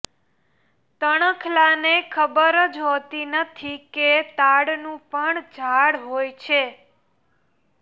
તણખલાને ખબર જ હોતી નથી કે તાડનું પણ ઝાડ હોય છે